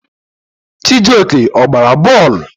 Chijioke a gbara bọọlụ?